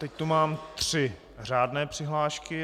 Teď tu mám tři řádné přihlášky.